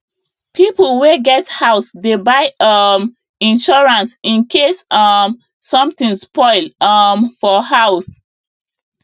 people wey get house dey buy um insurance in case um something spoil um for house